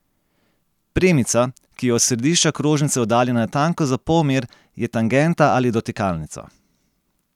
Premica, ki je od središča krožnice oddaljena natanko za polmer, je tangenta ali dotikalnica.